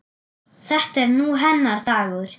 Þetta er nú hennar dagur.